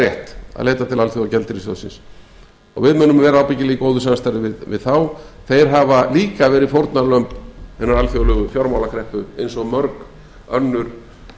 rétt að leita til alþjóðagjaldeyrissjóðsins og við munum vera ábyggilega í góðu samstarfi við þá þeir hafa líka verið fórnarlömb hinnar alþjóðlegu fjármálakreppu eins og mörg önnur